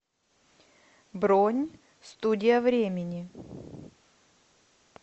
бронь студия времени